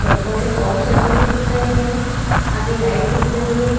Shampoo के pouch रखे हुए दिख रहे है आगे लाइट दिख रही है।